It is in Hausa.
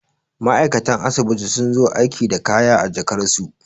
ma'aikatan asibiti sun zo aiki da kaya a jakarsu